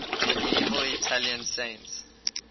medieval italian saints